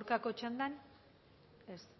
aurkako txandan ez